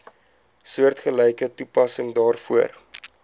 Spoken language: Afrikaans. soortgelyke toepassing daarvoor